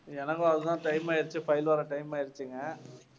எனக்கும் அது தான் time ஆயிடுச்சு file வர time ஆயிடுச்சுங்க.